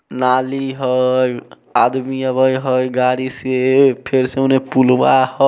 नाली हय आदमी आवे हय गाड़ी से फिर से उने पुलवा हय।